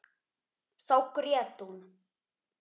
Þá grét hún.